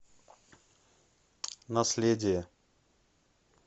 наследие